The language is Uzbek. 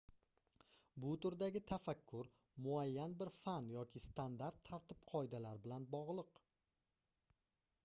bu turdagi tafakkur muayyan bir fan yoki standart tartib-qoidalar bilan bogʻliq